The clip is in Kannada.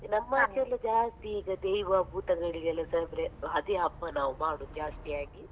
ನಮ್ಮ ಎಲ್ಲ ಜಾಸ್ತಿ ಈಗ ದೈವ ಭೂತಗಳಿಗೆ ಎಲ್ಲಾಸ ಅಂದ್ರೆ ಅದೇ ಹಬ್ಬ ನಾವು ಮಾಡುದು ಜಾಸ್ತಿಯಾಗಿ .